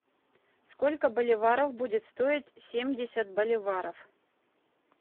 сколько боливаров будет стоить семьдесят боливаров